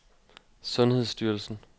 sundhedsstyrelsen